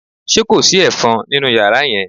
Ṣé kò sí ẹ̀fọn nínú yàrá yẹn?